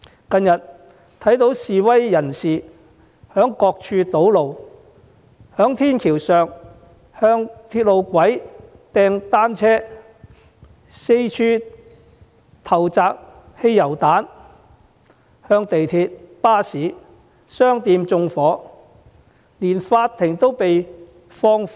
近日，我們看到示威人士在各處堵路，在天橋上向鐵路路軌投擲單車，又四處投擲汽油彈，對港鐵、巴士、商店以至法庭縱火。